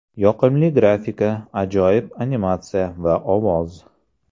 Yoqimli grafika, ajoyib animatsiya va ovoz.